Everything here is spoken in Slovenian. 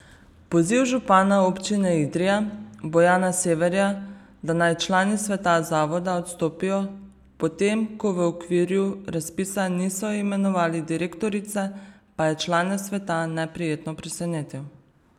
Poziv župana Občine Idrija Bojana Severja, da naj člani sveta zavoda odstopijo, potem ko v okviru razpisa niso imenovali direktorice, pa je člane sveta neprijetno presenetil.